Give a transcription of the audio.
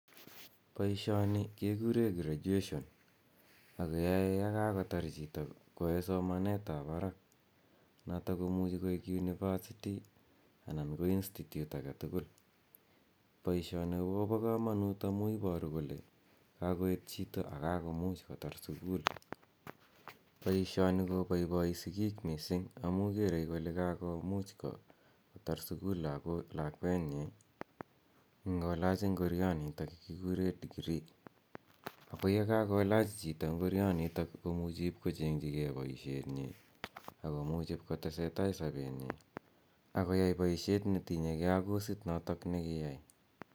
Poishoni kekure graduation ak keyae ye kakotar chito koyae somanet ap parak. Notok ko imuchi koik university anan ko institute age tugul. Poishoni ko pa kamanut amu iparu kole kakoet chito ako kakomuch kotar sukul. Poishoni kopaipai sikiik missing' amu kere kole kakomuch kotar sukul lakwenyi ngolach ngorianitok kikure degree. Ako ye kakolach chito ngorionitok ko muchi ip ko cheng'chigei poishetnyi ako muchi ip kotese tai poishetnyi ak ip koyai poishet ne tinye gei ak kosit notok ne kiyai.